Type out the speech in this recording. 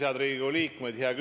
Head Riigikogu liikmed!